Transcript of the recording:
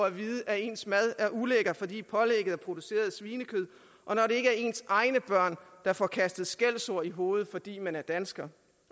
at vide at ens med er ulækker fordi pålægget er produceret af svinekød og når det ikke er ens egne børn der får kastet skældsord i hovedet fordi man er dansker